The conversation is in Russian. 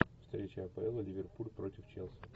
встреча апл ливерпуль против челси